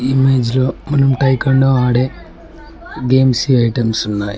Image లో మనం ఆడే గేమ్సి ఐటమ్స్ ఉన్నాయ్.